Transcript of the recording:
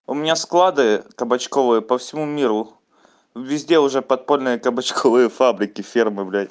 у меня склады кабачковые по всему миру везде уже подпольные кабачковые фабрики фермы блядь